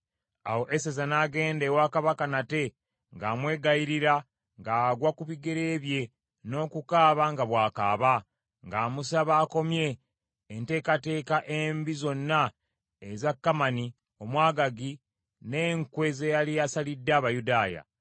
Awo Eseza n’agenda ewa Kabaka nate ng’amwegayirira ng’agwa ku bigere bye n’okukaaba nga bw’akaaba, ng’amusaba akomye enteekateeka embi zonna eza Kamani Omwagaagi, n’enkwe ze yali asalidde Abayudaaya.